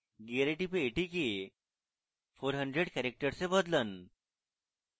gear টিপে এটিকে 400 characters এ বদলান